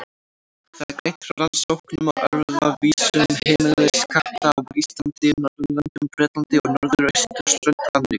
Þar er greint frá rannsóknum á erfðavísum heimiliskatta á Íslandi, Norðurlöndum, Bretlandi og norðausturströnd Ameríku.